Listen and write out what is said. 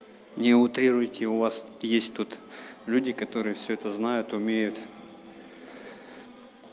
не утрируете у вас есть тут люди которые всё это знают умеют